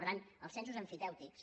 per tant els censos emfitèutics